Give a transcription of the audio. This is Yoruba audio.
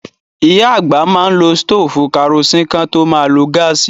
Ìyá àgbà má n lo stófù karosín kán tó ma lo gáàsì.